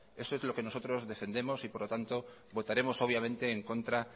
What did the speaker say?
eso es lo que nosotros defendemos y por lo tanto votaremos obviamente en contra